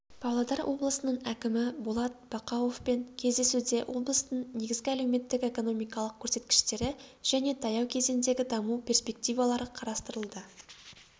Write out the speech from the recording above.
павлодар облысының әкімі болат бақауовпен кездесуде облыстың негізгі әлеуметтік-экономикалық көрсеткіштері және таяу кезеңдегі даму перспективалары қарастырылды